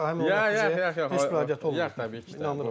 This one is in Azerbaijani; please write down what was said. Yox yox yox, heç bir aidiyyatı yox, təbii ki, inanıram.